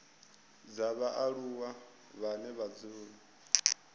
dza vhaaluwa vhane vha dzula